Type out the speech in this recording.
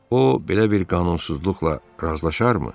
O belə bir qanunsuzluqla razılaşarmı?